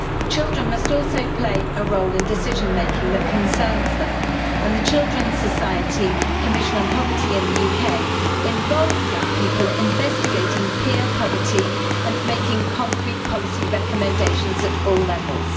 Children must also play a role in decision-making that concerns them, and the Children's Commission on Poverty in the UK involves young people investigating peer poverty and making concrete policy recommendations at all levels.